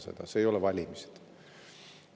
Need ei ole valimised.